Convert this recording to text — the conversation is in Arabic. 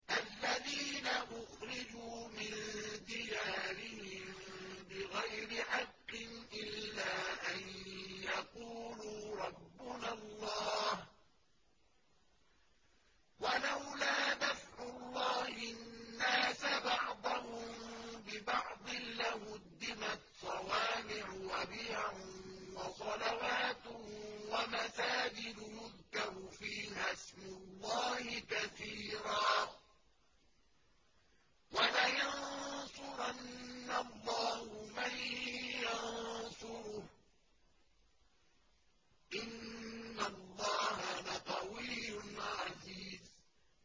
الَّذِينَ أُخْرِجُوا مِن دِيَارِهِم بِغَيْرِ حَقٍّ إِلَّا أَن يَقُولُوا رَبُّنَا اللَّهُ ۗ وَلَوْلَا دَفْعُ اللَّهِ النَّاسَ بَعْضَهُم بِبَعْضٍ لَّهُدِّمَتْ صَوَامِعُ وَبِيَعٌ وَصَلَوَاتٌ وَمَسَاجِدُ يُذْكَرُ فِيهَا اسْمُ اللَّهِ كَثِيرًا ۗ وَلَيَنصُرَنَّ اللَّهُ مَن يَنصُرُهُ ۗ إِنَّ اللَّهَ لَقَوِيٌّ عَزِيزٌ